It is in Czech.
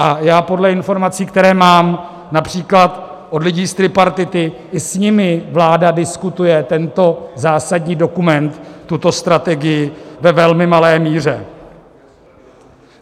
A já podle informací, které mám například od lidí z tripartity, i s nimi vláda diskutuje tento zásadní dokument, tuto strategii, ve velmi malé míře.